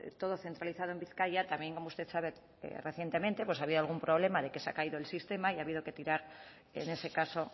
todo centralizado en bizkaia también como usted sabe recientemente pues ha habido algún problema de que se ha caído el sistema y ha habido que tirar en ese caso